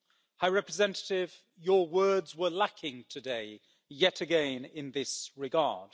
High Representative, your words were lacking today, yet again in this regard.